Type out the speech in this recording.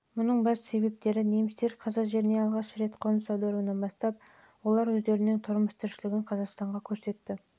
мұның басты себептері немістер қазақ жеріне алғаш рет қоныс аударуынан бастап олар өздерінің тұрмыс-тіршілігі бойынша қазақстанның әр түрлі